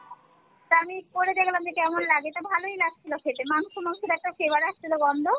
তা আমি করে দেখলাম যে কেমন লাগে তা ভালোই লাগছিলো খেতে মাংস মাংসোর একটা flavor আসছিলো গন্ধ